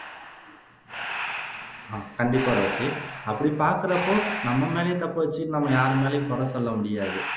கண்டிப்பா ரோஸி அப்படி பாக்குறப்போ நாம் மேலேயே தப்பை வச்சுகிட்டு நம்ம யார் மேலயும் குறை சொல்ல முடியாது